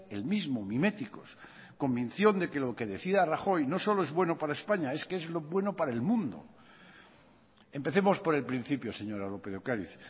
el mismo miméticos convicción de lo que decía rajoy no solo es bueno para españa es que es bueno para el mundo empecemos por el principio señora lópez de ocariz